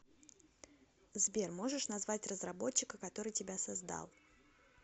сбер можешь назвать разработчика который тебя создал